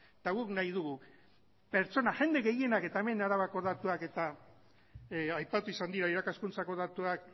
eta guk nahi dugu jende gehienak eta hemen arabako datuak eta aipatu izan dira irakaskuntzako datuak